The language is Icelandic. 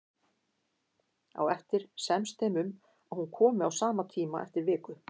Á eftir semst þeim um að hún komi á sama tíma eftir viku.